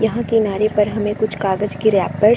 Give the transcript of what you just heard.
यहाँ किनारे पर है हमें कुछ कागज के रैपर्स --